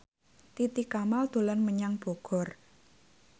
Titi Kamal dolan menyang Bogor